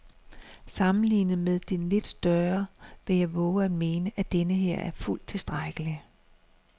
Sammenlignet med den lidt større vil jeg vove at mene, at denneher er fuldt tilstrækkelig.